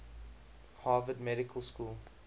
harvard medical school